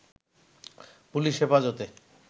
police Hefazate